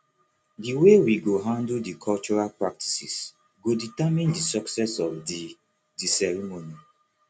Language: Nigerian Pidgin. the way we go handle di cultural practices go determine di success of the the ceremony